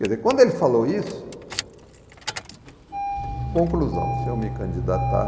Quer dizer, quando ele falou isso, conclusão, se eu me candidatar...